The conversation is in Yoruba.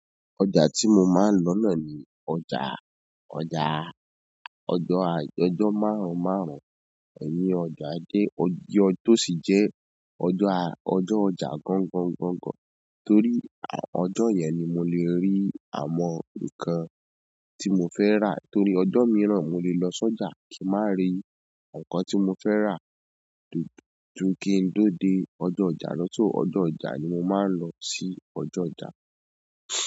Ọjà tí mo máa ń lọ náà ni ọjà, ọjà, ọjọ́ a, ọjọ máàrún máàrún, èyí ni ọjọ́ ajé, ọjọ́ tó sì jẹ́ ọjọ́, ọjọ́ ọjà gọ̀ńgọ̀ń gọ̀ńgọ̀ń, torí ọjọ́ yẹn ni mo le rí àwọn nǹkan tí mo fẹ́ rà torí ọjọ́ mìíràn mo lè lọ sọ́jà kí má rí nǹkan tí mo fẹ́ rà dúdú. Ju kí n tó dé ọjọ́ ọjà lọ, so ọjọ́ ọjà ni mo máa ń lọ sí ọjọ́ ọjà.